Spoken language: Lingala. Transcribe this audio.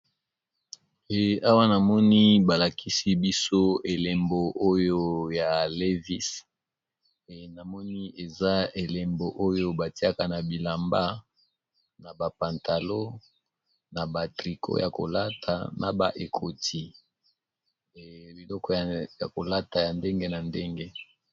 Awa namoni balakisi biso elembo oyo ya levise namoni eza elembo oyo batiaka na bilamba na bapantalo na ba triko ya kolata na ba ekoti biloko ya kolata ya ndenge na ndenge